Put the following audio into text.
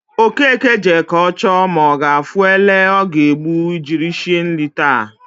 Okeke jee ka o choo ma o gaafu ele o ga egbu jiri shie nri taata